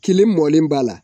Kelen mɔlen b'a la